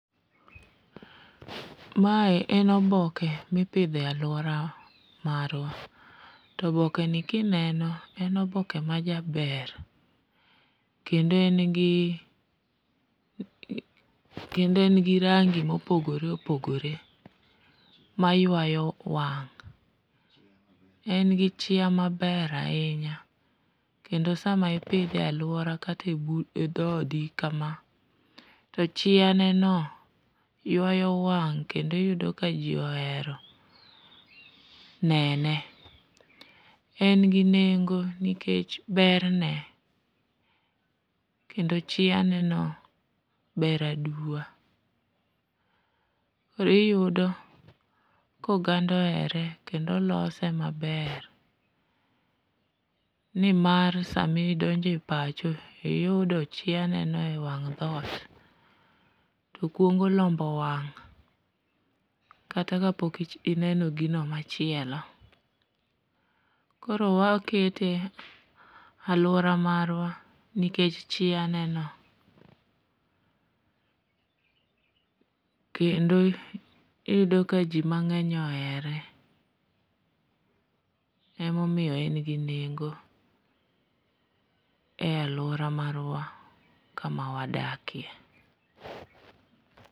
Mae en oboke mipidho e alwora marwa, to obokeni kineno en oboke majaber, kendo en gi rangi mopogore opogore ma ywayo wang',en gi chia maber ahinya, kendo sama ipidhe e alwora kata e dhodi kama, to chianeno ywayo wang' kendo iyudo ka ji ohero nene. En gi nengo nikech berne kendo chianeno ber aduwa, kendo iyudo koganda ohere kendo lose maber nimar samidonjo e pacho, iyudo chianeno e wang' dhot, to kwongo lombo wang' kata kapok ineno gino machielo. koro wakete e alwora marwa nikech chianeno ,kendo iyudo ka ji mang'eny ohere, emomiyo en gi nengo e alwora marwa kama wadakie.